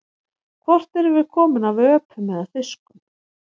Hvort erum við komin af öpum eða fiskum?